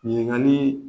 Ɲininkali